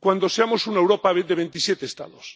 cuando seamos una Europa de veintisiete Estados.